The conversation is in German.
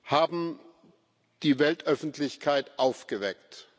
haben die Weltöffentlichkeit aufgeweckt.